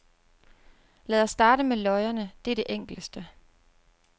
Lad os starte med løjerne, det er det enkleste.